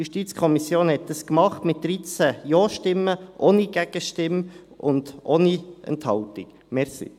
Die JuKo hat dies mit 13 Ja-Stimmen, ohne Gegenstimme und ohne Enthaltung getan.